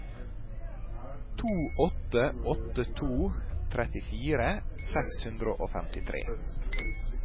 to åtte åtte to trettifire seks hundre og femtitre